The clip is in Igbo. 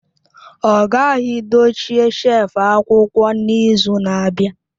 Ọ ghaghị dochie shelf akwụkwọ n'izu na-abịa!